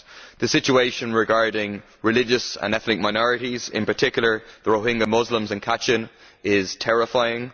The situation regarding religious and ethnic minorities, in particular the Rohingya Muslims in Kachin State, is terrifying.